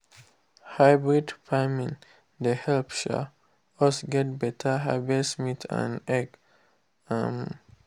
hybrid farming dey help um us get better harvest meat and egg. um